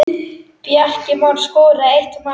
Bjarki Már skoraði eitt mark.